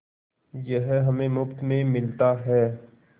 यह हमें मुफ्त में मिलता है